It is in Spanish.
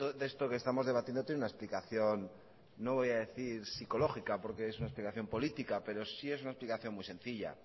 de esto que estamos debatiendo tiene una explicación no voy a decir psicológica porque es una explicación política pero sí es una explicación muy sencilla